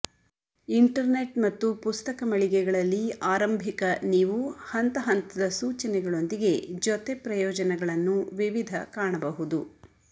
internet ಮತ್ತು ಪುಸ್ತಕ ಮಳಿಗೆಗಳಲ್ಲಿ ಆರಂಭಿಕ ನೀವು ಹಂತ ಹಂತದ ಸೂಚನೆಗಳೊಂದಿಗೆ ಜೊತೆ ಪ್ರಯೋಜನಗಳನ್ನು ವಿವಿಧ ಕಾಣಬಹುದು